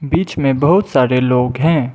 बीच में बहुत सारे लोग हैं।